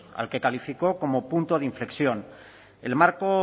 al que calificó como punto de inflexión el marco